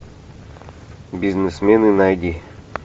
бизнесмены найди